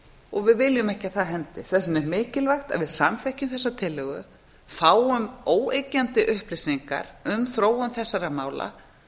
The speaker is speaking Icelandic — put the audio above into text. og við viljum ekki að það hendi þess vegna er mikilvægt að við samþykkjum þessa tillögu fáum óyggjandi upplýsingar um þróun þessara mála